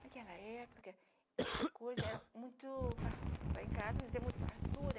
Naquela época, as coisas eram muito far... Lá em casa, sem muita fartura.